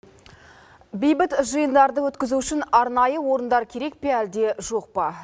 бейбіт жиындарды өткізу үшін арнайы орындар керек пе әлде жоқ па